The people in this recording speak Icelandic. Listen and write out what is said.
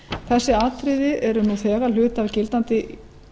þessi atriði eru nú þegar hluti af gildandi